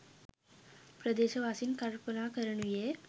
ප්‍රදේශවාසීන් කල්පනා කරනුයේ